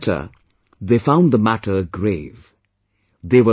While cleaning the litter, they found the matter grave